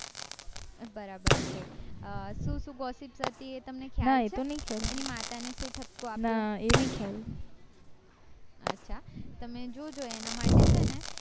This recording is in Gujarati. બરાબર છે અ સુ સુ gossip થય્તી એ તમને ખ્યાલ છે એની માતા ને શું ઠ્બકો અચ્છા તમે જોજો એના માટે છે ને